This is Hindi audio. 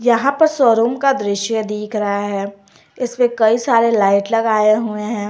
यहां पे शोरूम का दृश्य दिख रहा है इसपे कई सारे लगाए हुए हैं।